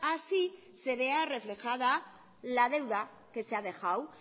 así se vea reflejada la deuda que se ha dejado